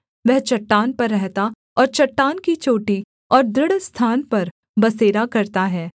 वह चट्टान पर रहता और चट्टान की चोटी और दृढ़ स्थान पर बसेरा करता है